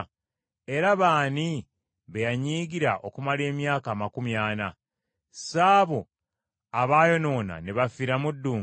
Era baani be yanyiigira okumala emyaka amakumi ana? Si abo abaayonoona ne bafiira mu ddungu?